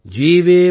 சதம்